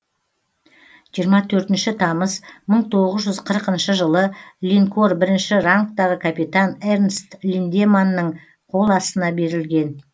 жиырма төртінші тамыз мың тоғыз жүз қырқыншы жылы линкор бірінші рангтағы капитан эрнст линдеманның қол астына берілген